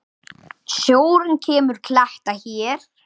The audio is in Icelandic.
Sjórinn lemur kletta hér.